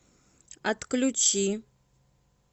отключи